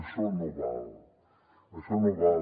això no val això no val